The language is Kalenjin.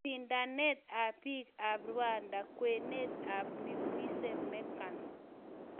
Sindanet ab tibiik ab Rwanda: kw�et ab Nimwiza Meghan